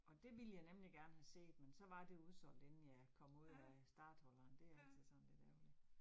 Og det ville jeg nemlig gerne have set, men så var det udsolgt inden jeg kom ud af starthullerne, det altid sådan lidt ærgerligt